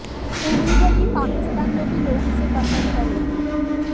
उम्मीद है कि पाकिस्तान में भी लोग इसे पसंद करेंगे